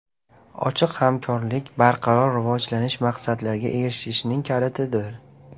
Ochiq hamkorlik barqaror rivojlanish maqsadlariga erishishning kalitidir.